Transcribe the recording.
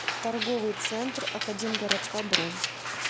торговый центр академгородка бронь